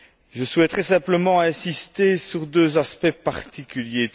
Je souhaiterais simplement insister sur deux aspects particuliers.